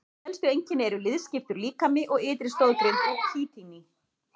Helstu einkenni eru liðskiptur líkami og ytri stoðgrind úr kítíni.